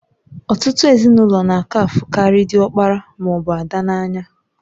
Ọtụtụ ezinụlọ n'aka afukari diokpara maọbụ ada n'anya.